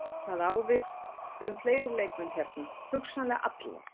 Það á við um fleiri leikmenn hérna, hugsanlega allar.